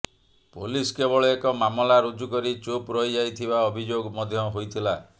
police କେବଳ ଏକ ମାମଲା ରୁଜୁ କରି ଚୁପ ରହିଯାଇଥିବା ଅଭିଯୋଗ ମଧ୍ୟ ହୋଇଥିଲା